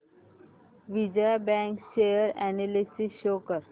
Vijaya bank share analysis show कर